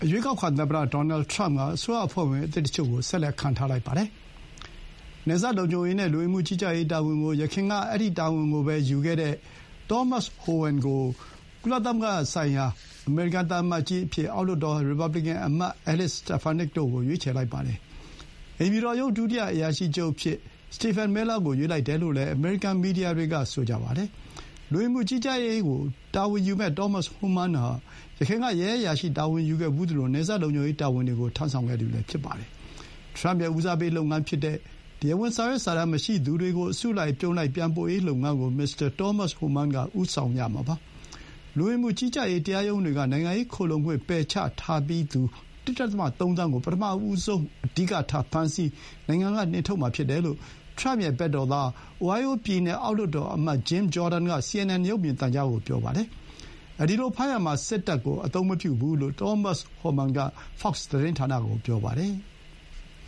ရွေးကောက်ခံ သမ္မတ ဒေါ်နယ် ထရမ့်က အစိုးရအဖွဲ့ဝင် အသစ်တချို့ကို ဆက်လက် ခန့်ထားလိုက်ပါတယ်။ နယ်စပ်လုံခြုံရေးနဲ့ လူဝင်မှု ကြီးကြပ်ရေး တာဝန်ကို ယခင်သူ့ ပထမသက်တမ်းမှာ လူဝင်မှု ကြီးကြပ်ရေးနဲ့ အကောက်ခွန်ဌာန ကို တာဝန်ယူခဲ့သူ Thomas Homan၊ ကုလသမဂ္ဂဆိုင်ရာ အမေရိကန် သံအမတ်ကြီးအဖြစ် အောက်လွှတ်တော် ရီပါဘလီကန် အမတ် Elise Stefanik တို့ကို ရွေးချယ်လိုက်ပါတယ်။ အိမ်ဖြူတော်ရုံး ဒုတိယ အရာရှိချုပ်အဖြစ် Stephen Miller ကို ရွေးလိုက်တယ်လို့လည်း အမေရိကန် မီဒီယာတွေက ဆိုကြပါတယ်။ လူဝင်မှုကြီးကြပ်ရေး ကို တာဝန်ယူမယ့် Thomas Homan ဟာ ယခင်က ရဲအရာရှိတာဝန်ယူခဲ့ဖူးသလို၊ နယ်စပ် လုံခြုံရေးတာဝန်တွေကို ထမ်းဆောင်ခဲ့သူ တဦးလည်း ဖြစ်ပါတယ်။ ထရမ့် ရဲ့ ဦးစားပေး လုပ်ငန်းဖြစ်တဲ့ တရားဝင် စာရွက်စာတမ်း မရှိသူတွေကို အစု အပြုံလိုက် ပြန်ပို့ရေး လုပ်ငန်းကို မစ္စတာ သောမတ် ဟိုမန်းက ဦးဆောင်ရမှာပါ။ လူဝင်မှုကြီးကြပ်ရေး တရားရုံးတွေက နိုင်ငံရေး ခိုလှုံခွင့် ပယ်ချထားပြီးသူ ၁.၃ သန်းကို ပထမဆုံး အဓိကထား ဖမ်းဆီး၊ နိုင်ငံက နှင်ထုတ်မှာ ဖြစ်တယ်လို့ ထရမ့် ဘက်တော်သား Ohio ပြည်နယ် အောက်လွှတ်တော် အမတ် Jim Jordan က စီအင်န်အင်န် ရုပ်သံကို ပြောပါတယ်။ အဲဒီလို ဖမ်းရာမှာ စစ်တပ်ကို မသုံးဘူး လို့ Thomas Homan က Fox သတင်းဌာနကို ပြောပါတယ်။